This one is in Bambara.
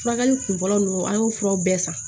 Furakɛli kunfɔlɔ ninnu an y'o furaw bɛɛ san